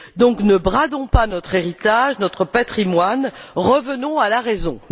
Donc, ne bradons pas notre héritage, notre patrimoine, revenons à la raison.